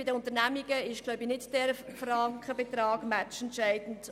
Bei den Unternehmungen ist dieser Frankenbetrag nicht entscheidend.